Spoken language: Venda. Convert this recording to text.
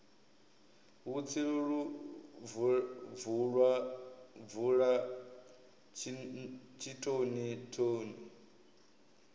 vhutsilu lu bvula tshitoni thoni